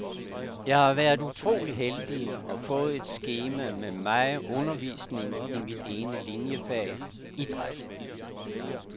Jeg har været utrolig heldig og fået et skema med meget undervisning i mit ene liniefag, idræt.